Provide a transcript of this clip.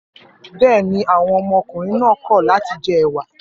Bẹ́ẹ̀ ni, àwọn ọmọkùnrin náà kọ̀ láti jẹ ẹ̀wà.